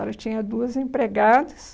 Ela tinha duas empregadas,